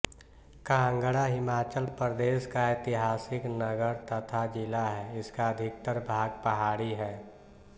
काँगड़ा हिमाचल प्रदेश का ऐतिहासिक नगर तथा जिला है इसका अधिकतर भाग पहाड़ी है